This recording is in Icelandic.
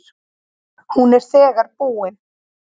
Hún er þegar búin.